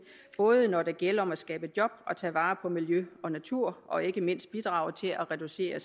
både når det gælder om at skabe job tage vare på miljø og natur og ikke mindst bidrage til at reducere